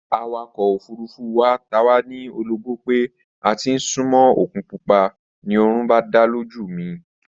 Awakọ̀ ofurufú wa ta wá ní ologbó pé a ti ń súnmó òkun pupa, ni oorun bá dá lójú mi